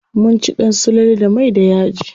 Mun ci ɗan sululu da mai da yaji.